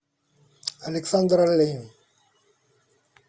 александр оленин